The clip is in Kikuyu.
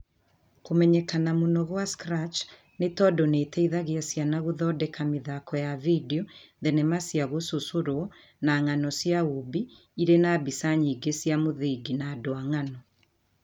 kũmenyekana mũno kwa Scratch nĩ tondũ nĩ ĩteithagia ciana gũthondeka mĩthako ya vidio, thenema cia gũcũcorwo, na ng'ano cia ũũmbi irĩ na mbica nyingĩ cia mũthingi na andũ a ng'ano